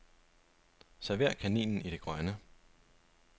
Server kaninen i det grønne.